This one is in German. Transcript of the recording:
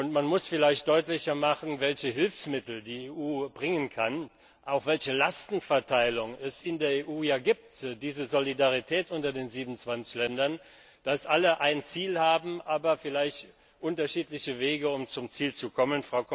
Man muss vielleicht deutlicher machen, welche Hilfsmittel die EU bringen kann und welche Lastenverteilung es in der EU gibt diese Solidarität unter den 27 Ländern, die alle ein Ziel haben, aber vielleicht unterschiedliche Wege, um zum Ziel zu kommen.